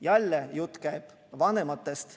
Jälle käib jutt vanematest.